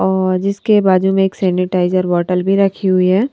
और जिसके बाजू में एक सैनिटाइजर बोतल भी रखे हुए हैं।